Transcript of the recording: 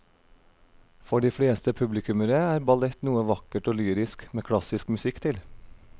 For de fleste publikummere er ballett noe vakkert og lyrisk med klassisk musikk til.